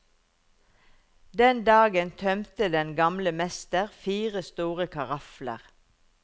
Den dagen tømte den gamle mester fire store karafler.